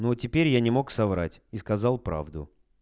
но теперь я не мог соврать и сказал правду